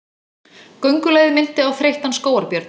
Göngulagið minnti á þreyttan skógarbjörn.